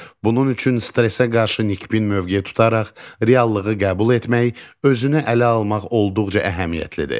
Bunun üçün stressə qarşı nikbin mövqe tutaraq reallığı qəbul etmək, özünə ələ almaq olduqca əhəmiyyətlidir.